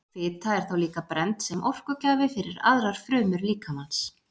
Fita er þá líka brennd sem orkugjafi fyrir aðrar frumur líkamans.